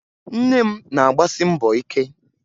Nne m na-agbasi mbọ ike